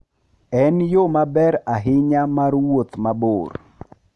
En yo maber ahinya mar wuoth mabor.